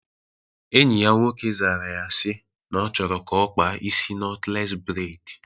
Enyi ya nwoke zara ya si na ọ chọrọ ka ọ kpaa isi nọtlees breid